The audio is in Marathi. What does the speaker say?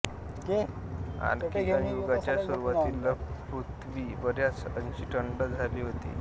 आरकीअन युगाच्या सुरुवातीला पृथ्वी बऱ्याच अंशी थंड झाली होती